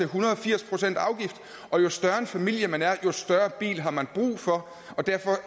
hundrede og firs procent afgift og jo større en familie man er jo større en bil har man brug for og derfor